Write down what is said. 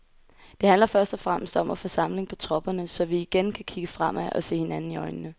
Det handler først og fremmest om at få samling på tropperne, så vi igen kan kigge fremad og se hinanden i øjnene.